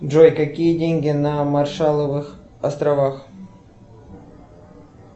джой какие деньги на маршаловых островах